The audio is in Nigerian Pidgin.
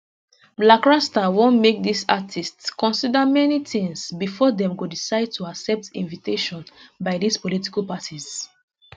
blakk rasta want make dis artistes consider many tins bifor dem go decide to accept invitation by dis political parties